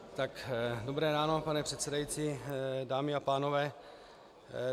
Dobré ráno, pane předsedající, dámy a pánové.